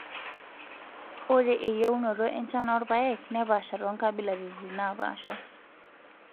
Ore eyieunoto enchan orpaek nepaasha toonkabilaritin napaasha.